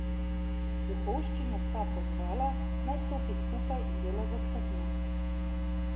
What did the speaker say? Duhovščino sta pozvala, naj stopi skupaj in dela za skupnost.